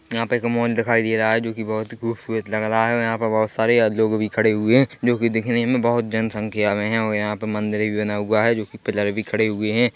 यहाँ पे एक मॉल दिखाई दे रहा है जोकि बहोत ही खूबसूरत लग रहा है और यहाँ पर बहोत सारी आदमी लोग भी खड़े हुए है जोकि दिखने में बहोत जन संख्या में है और यहाँ पे मंदिर भी बना हुआ है जोकि पिलर भी खड़े भी हुए है।